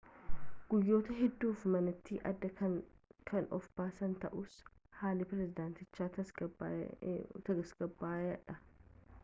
guyyoota hedduuf manatti adda kan of baasan ta'us haalli pirezidaantichaa tasgabbaa'aadha